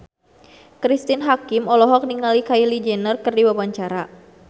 Cristine Hakim olohok ningali Kylie Jenner keur diwawancara